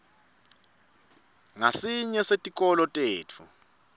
ngasinye setikolo tetfu